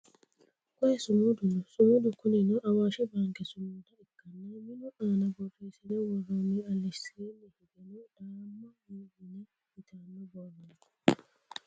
koye sumudu no sumudu kunino awaashi baanke sumuda ikkanna minu aana borreessine worroonni alesiini higeno daama mine yitanno borro no